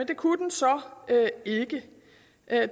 ikke det